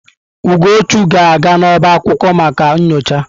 Ugochu ga-aga n'ọbá akwụkwọ maka nyocha.